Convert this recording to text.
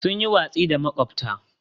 Sun yi watsi da makwabta.